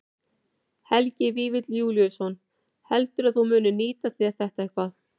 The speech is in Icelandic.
Helgi Vífill Júlíusson: Heldurðu að þú munir nýta þér þetta eitthvað?